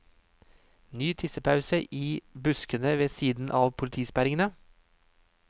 Ny tissepause i buskene ved siden av politisperringene.